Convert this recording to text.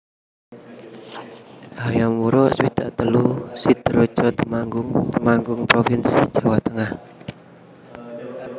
Hayam Wuruk swidak telu Sidorejo Temanggung Temanggung provinsi Jawa Tengah